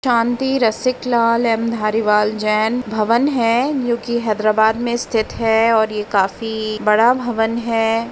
शांति Rasik Lal M Dhariwal Jain भवन है जो की हैदराबाद में स्थित है और ये काफी बड़ा भवन है।